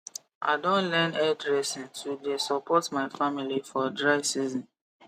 i don learn hair dressing to the support my family for dry season